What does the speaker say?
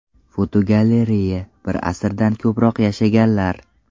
Fotogalereya: Bir asrdan ortiq yashaganlar.